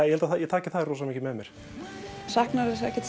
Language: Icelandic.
ég held að ég taki það rosa mikið með mér saknarðu þess ekki